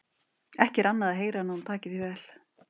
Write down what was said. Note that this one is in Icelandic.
Ekki er annað að heyra en að hún taki því vel.